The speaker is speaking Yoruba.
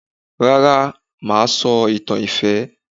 Rárá mà á sọ ìtàn ìfẹ́